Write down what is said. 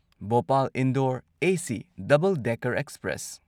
Bhopal Indore AC double decker express